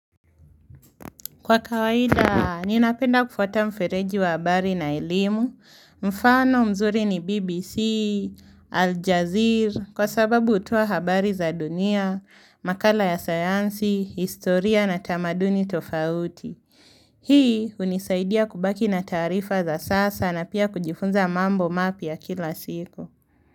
Kwa kawaida, ninapenda kufuata mfereji wa habari na elimu, mfano mzuri ni BBC, Aljazeer, kwa sababu hutoa habari za dunia, makala ya sayansi, historia na tamaduni tofauti. Hii hunisaidia kubaki na taarifa za sasa na pia kujifunza mambo mapya kila siku.